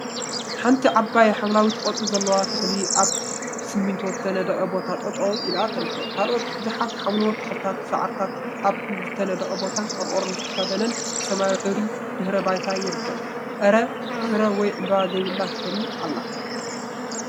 ሓንቲ ዓባይ ሓምለዋይ ቆፅሊ ዘለዋ ተክሊ አብ ብስሚንቶ ዝተነደቀ ቦታ ጠጠው ኢላ ትርከብ፡፡ ካልኦት ቡዙሓት ሓምለዎት ተክሊታትን ሳዕሪታትን አብ ዝተነደቀ ቦታን ቆርቆሮ ዝተከደነን ብሰማያዊ ሕብሪ ድሕረ ባይታ ይርከብ፡፡ አረ! ፍረ ወይ ዕምበባ ዘብላ ተክሊ አላ፡፡